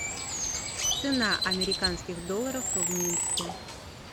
цена американских долларов в минске